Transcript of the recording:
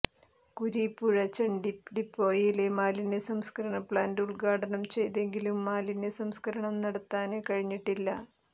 കുരീപ്പുഴ ചണ്ടി ഡിപ്പോയിലെ മാലിന്യ സംസ്കരണ പ്ലാന്റ് ഉദ്ഘാടനം ചെയ്തെങ്കിലും മാലിന്യ സംസ്കരണം നടത്താന് കഴിഞ്ഞിട്ടില്ല